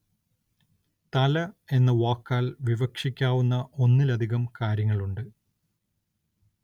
തല എന്ന വാക്കാല്‍ വിവക്ഷിക്കാവുന്ന ഒന്നിലധികം കാര്യങ്ങളുണ്ട്